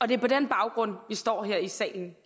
det er på den baggrund vi står her i salen